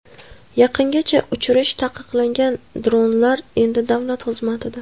Yaqingacha uchirish taqiqlangan dronlar endi davlat xizmatida.